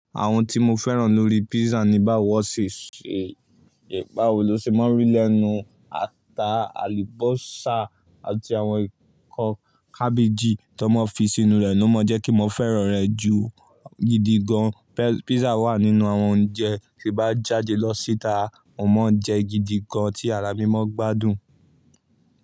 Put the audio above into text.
Àwọn tí mo fẹ́ràn lórí pizza ni báwo lo ṣe máa ń rí lẹ́nu ata, alubọ́sá, àti àwọn ǹkan kábéjì tó máa ń fi sínú rẹ̀ ló mọ̀ jẹ́ kí mo fẹ́ràn rẹ̀ ju gidi gan be Pizza wà nínú àwọn oúnjẹ tí bá jáde lọ síta, mo máa ń jẹ gidi gan tí ara mi mo gbádùn.